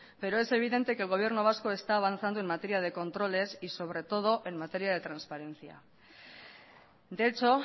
pero es evidente que el gobierno vasco está avanzando en materia de controles y sobre todo en materia de transparencia de hecho